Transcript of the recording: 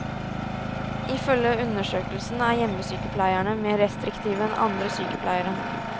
Ifølge undersøkelsen er hjemmesykepleierne mer restriktive enn andre sykepleiere.